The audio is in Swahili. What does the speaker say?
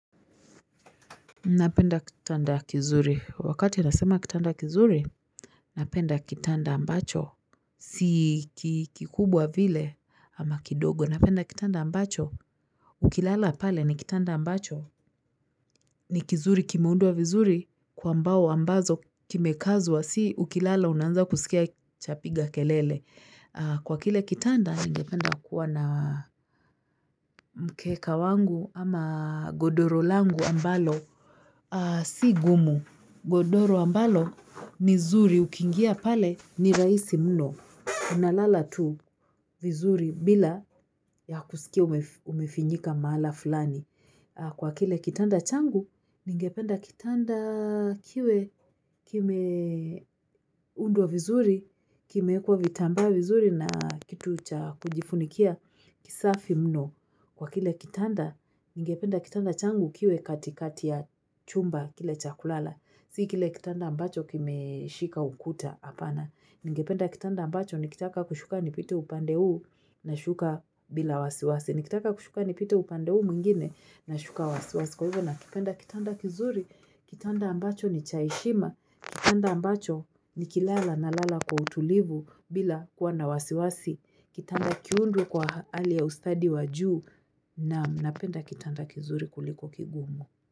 Napenda kitanda kizuri wakati nasema kitanda kizuri Napenda kitanda ambacho Si kikubwa vile ama kidogo napenda kitanda ambacho Ukilala pale ni kitanda ambacho ni kizuri kimeunduwa vizuri kwa mbao ambazo kimekazwa si ukilala unaanza kusikia Chapiga kelele kwa kile kitanda ningependa kuwa na Mkeka wangu ama godoro langu ambalo Si gumu. Godoro ambalo ni zuri. Ukiingia pale ni raisi mno. Unalala tu vizuri bila ya kusikia umefinyika maala fulani. Kwa kile kitanda changu, ningependa kitanda kiwe kimeundwa vizuri, kimeekwa vitambaa vizuri na kitu cha kujifunikia kisafi mno. Kwa kile kitanda, ningependa kitanda changu kiwe katikati ya chumba kile cha kulala. Si kile kitanda ambacho kimeshika ukuta apana. Ningependa kitanda ambacho, nikitaka kushuka nipite upande huu nashuka bila wasiwasi. Nikitaka kushuka nipite upande huu mwingine na shuka wasiwasi. Kwa hivyo nakipenda kitanda kizuri, kitanda ambacho ni cha heshima. Kitanda ambacho nikilala nalala kwa utulivu bila kuwa na wasiwasi. Kitanda kiundwe kwa hali ya ustadi wa juu naam napenda kitanda kizuri kuliko kigumu.